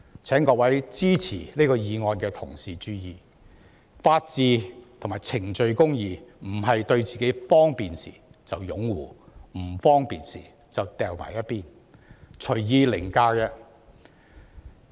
請各位支持這議案的同事注意，法治與程序公義不是對自己有利時便擁護，不利時便放在一旁、隨意凌駕。